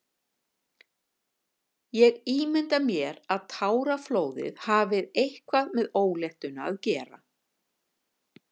Ég ímynda mér að táraflóðið hafi eitthvað með óléttuna að gera.